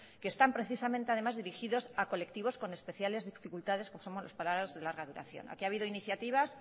que están precisamente además dirigidos a colectivos con especiales dificultades como somos los parados de larga duración aquí ha habido iniciativas